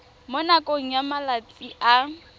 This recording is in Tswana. mo nakong ya malatsi a